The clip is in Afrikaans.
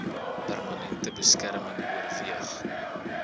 permanente beskerming oorweeg